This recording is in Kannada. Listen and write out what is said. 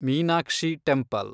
ಮೀನಾಕ್ಷಿ ಟೆಂಪಲ್